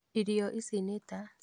Irio ici nĩ ta: